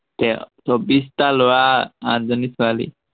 কিয়, চৌব্বিশটা লৰা, আঠজনী ছোৱালী।